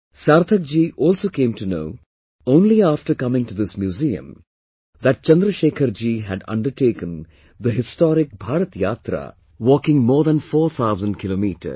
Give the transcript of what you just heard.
Sarthak ji also came to know only after coming to this museum that Chandrashekhar ji had undertaken the historic Bharat Yatra, walking more than 4 thousand kilometers